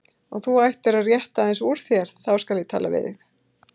Og þú ættir að rétta aðeins úr þér, þá skal ég tala betur við þig.